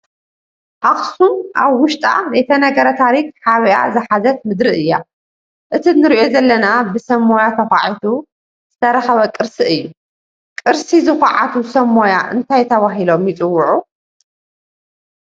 ኣኽሱም ኣብ ውሽጣ ዘይተነገረ ታሪክ ሓቢአ ዝሓዘት ምድሪ እያ፡፡ እቲ ንሪኦ ዘለና ብሰብ ሞያ ተዃዒቱ ዝተረኸበ ቅርሲ እዩ፡፡ ቅርሲ ዝኹዕቱ ሰብ ሞያ እንታይ ተባሂሎም ይፅውዑ?